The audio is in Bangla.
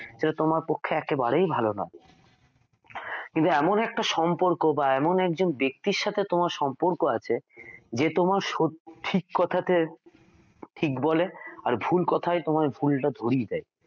তোমার পক্ষে একেবারেই ভালো নয় কিন্তু এমন একটা সম্পর্ক বা এমন একজন ব্যক্তির সাথে তোমার সম্পর্ক আছে যে তোমার ঠিক কথাতে ঠিক বলে এবং ভুল কথাই ভুলটা ধরিয়ে দেয়